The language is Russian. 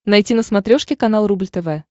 найти на смотрешке канал рубль тв